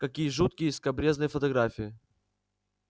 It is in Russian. какие жуткие и скабрёзные фотографии